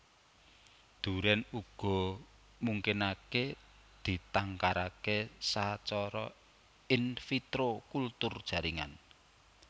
Durèn uga mungkinaké ditangkaraké sacara in vitro kultur jaringan